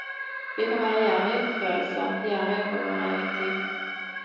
Vi kan være gjerrige på følelser, gjerrige på vår egen tid.